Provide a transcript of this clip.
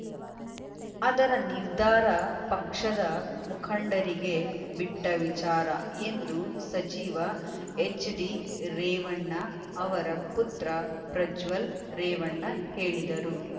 ಅದರ ನಿರ್ಧಾರ ಪಕ್ಷದ ಮುಖಂಡರಿಗೆ ಬಿಟ್ಟವಿಚಾರ ಎಂದು ಸಚಿವ ಎಚ್‌ಡಿ ರೇವಣ್ಣ ಅವರ ಪುತ್ರ ಪ್ರಜ್ವಲ್‌ ರೇವಣ್ಣ ಹೇಳಿದರು